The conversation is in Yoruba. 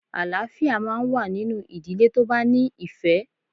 Àlááfíà máa n wá nínú ìdílé tó bá ní ìfẹ̀